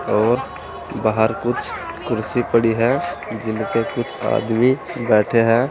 और बाहर कुछ कुर्सी पड़ी है जिनपे कुछ आदमी बैठे हैं।